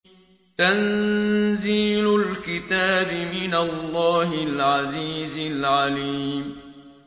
تَنزِيلُ الْكِتَابِ مِنَ اللَّهِ الْعَزِيزِ الْعَلِيمِ